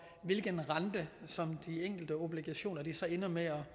hvilken rente de enkelte obligationer ender med